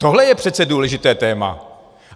Tohle je přece důležité téma.